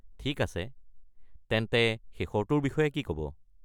ঠিক আছে। তেন্তে শেষৰটোৰ বিষয়ে কি ক'ব?